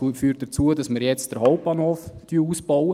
Es führt dazu, dass wir jetzt den Hauptbahnhof ausbauen.